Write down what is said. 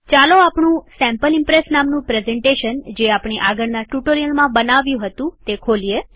ચાલો આપણું sample Impress નામનું પ્રેઝન્ટેશન જે આપણે આગળના ટ્યુટોરીયલમાં બનાવ્યું હતું તે ખોલીએ